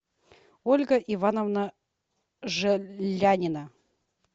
ольга ивановна желянина